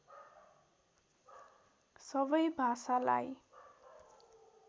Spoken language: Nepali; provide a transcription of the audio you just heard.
सबै भाषालाई